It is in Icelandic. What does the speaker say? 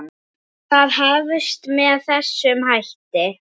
Það hefst með þessum hætti: